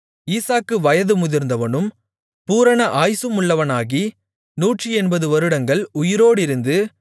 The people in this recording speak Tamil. ஈசாக்கு வயது முதிர்ந்தவனும் பூரண ஆயுசுமுள்ளவனாகி 180 வருடங்கள் உயிரோடிருந்து